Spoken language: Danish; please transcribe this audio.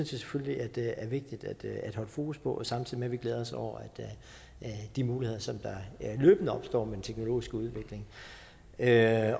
selvfølgelig er vigtigt at holde fokus på samtidig med at vi glæder os over de muligheder som løbende opstår med den teknologiske udvikling ja